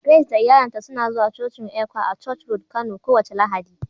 Grace da iyalinta suna zuwa cocin ECWA a Church road Kano kowace Lahadi.